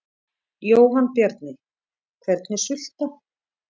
Jóhann Bjarni: Hvernig sulta?